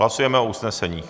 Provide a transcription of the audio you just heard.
Hlasujeme o usnesení.